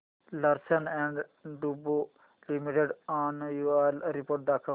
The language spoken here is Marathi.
लार्सन अँड टुर्बो लिमिटेड अॅन्युअल रिपोर्ट दाखव